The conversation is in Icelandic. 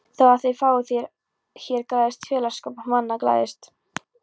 Þó að fáum fé hér græðist félagsskapur manna glæðist.